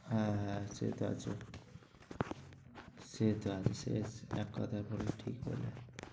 হ্যাঁ হ্যাঁ সেটা আছে। সেটা বিশেষ এক কথায় বললে ঠিক হয়ে